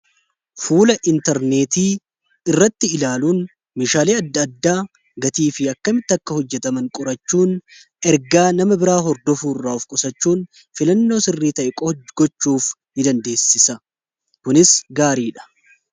fuula intarneetii irratti ilaaluun meshaalee adda addaa gatii fi akkamitti akka hojjetaman qurachuun ergaa nama biraa hordofuu irraa offii qusachuun filannoo sirrii taa'ee qofa gochuuf ni dandeessisa kunis gaarii dha.